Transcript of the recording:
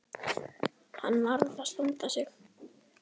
Hann varð að standa sig.